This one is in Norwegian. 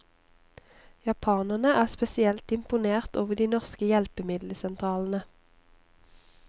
Japanerne er spesielt imponert over de norske hjelpemiddelsentralene.